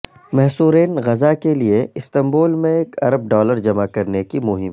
محصورین Gaza کے لیے Istanbul میں ایک ارب ڈالر جمع کرنے کی مہم